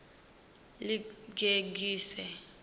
ḽigegise